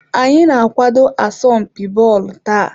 Anyị na-akwado asọmpi bọọlụ taa.